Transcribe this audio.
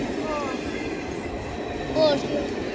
ਹੋਰ, ਹੋਰ ਸੁਣਾ?